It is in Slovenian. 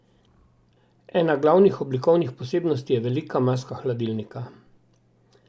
Ena glavnih oblikovnih posebnosti je velika maska hladilnika.